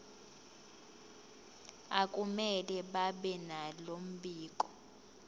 akumele babenalo mbiko